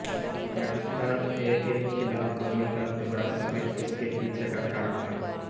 Pakistan A के खिलाफ धोनी का दोहरा शतक इसके पीछे का कारण था